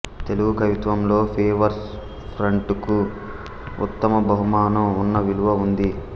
తెలుగు కవిత్వంలో ఫ్రీవర్స్ ఫ్రంటుకు ఉత్తమ బహుమానం అన్న విలువ ఉంది